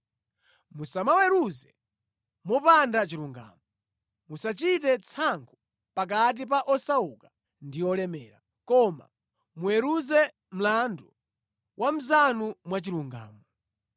“ ‘Musamaweruze mopanda chilungamo. Musachite tsankho pakati pa osauka ndi olemera, koma muweruze mlandu wa mnzanu mwachilungamo.